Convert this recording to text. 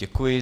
Děkuji.